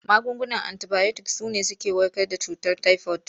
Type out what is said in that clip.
Magungunan antibayotik su ne suke warkar da cutar tayifod.